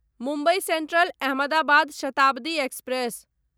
Mumbai Central Ahmedabad Shatabdi express